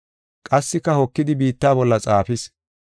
Qassika hokidi biitta bolla xaafis.